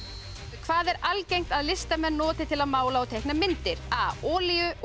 hvað er algengt að listamenn noti til að mála og teikna myndir a olíu og